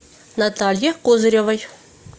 наталье козыревой